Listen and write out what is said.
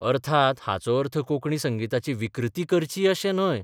अर्थात, हाचो अर्थ कोंकणी संगिताची विकृती करची अशें न्हय.